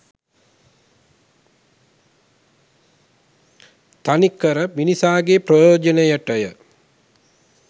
තනි කර මිනිසාගේ ප්‍රයෝජනයටය.